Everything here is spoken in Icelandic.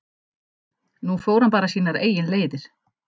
Nú fór hann bara sínar eigin leiðir.